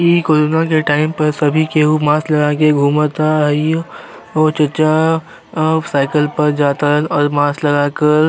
इ क्रोना के टाइम पर सभी केहु मास्क लगाके घूमता आ ई ओ चचा अं साइकिल पर जातारन अर् मास्क लगा कर --